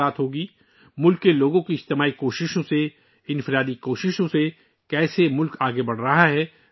ہماری توجہ اس بات پر ہوگی کہ ملک کے عوام کی اجتماعی اور انفرادی کوششوں سے ملک کس طرح آگے بڑھ رہا ہے